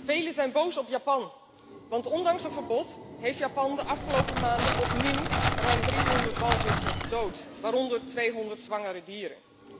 Velen zijn boos op Japan, want ondanks een verbod heeft Japan de afgelopen maanden opnieuw ruim 300 walvissen gedood, waaronder 200 zwangere dieren.